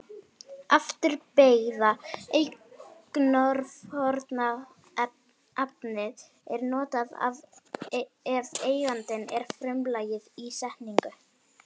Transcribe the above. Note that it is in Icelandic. Afturbeygða eignarfornafnið er notað ef eigandinn er frumlagið í setningu.